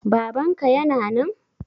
Babanka yana nan?